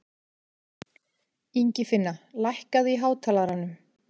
Ingifinna, lækkaðu í hátalaranum.